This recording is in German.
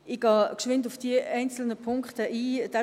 Ich gehe kurz auf die einzelnen Punkte ein.